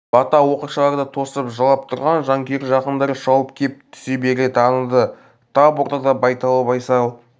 бата оқыршыларды тосып жылап тұрған жанкүйер жақындар шауып кеп түсе бере таныды тап ортада байдалы байсал